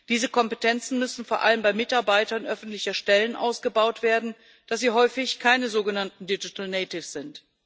Diese Kompetenzen müssen vor allem bei Mitarbeitern öffentlicher Stellen ausgebaut werden, da sie häufig keine sogenannten digital natives sind.